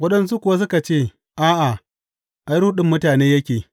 Waɗansu kuwa suka ce, A’a, ai, ruɗin mutane yake.